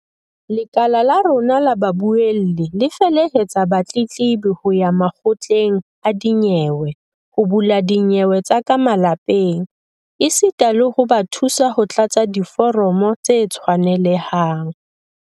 "Lekala la rona la babuelli le felehetsa batletlebi ho ya makgotleng a dinyewe ho bula dinyewe tsa ka malapeng esita le ho ba thusa ho tlatsa diforomo tse tshwanelehang."